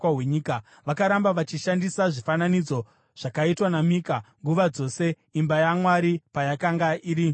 Vakaramba vachishandisa zvifananidzo zvakaitwa naMika, nguva dzose imba yaMwari payakanga iri muShiro.